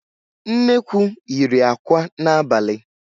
Nnekwu yiri àkwá n'abalị